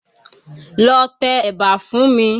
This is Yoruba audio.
Lọ tẹ ẹ̀bà fún mi!